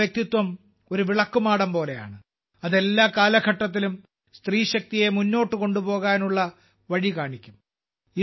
അവരുടെ വ്യക്തിത്വം ഒരു വിളക്കുമാടം പോലെയാണ് അത് എല്ലാ കാലഘട്ടത്തിലും സ്ത്രീശക്തിയെ മുന്നോട്ട് കൊണ്ടുപോകാനുള്ള വഴി കാണിക്കും